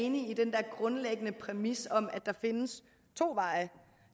enig i den der grundlæggende præmis om at der findes to veje